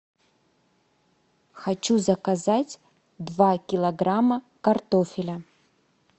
хочу заказать два килограмма картофеля